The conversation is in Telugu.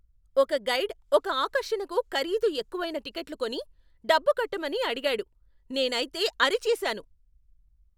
ఒక గైడ్ ఒక ఆకర్షణకు ఖరీదు ఎక్కువైన టిక్కెట్లు కొని, డబ్బు కట్టమని అడిగాడు. నేనైతే అరిచేశాను!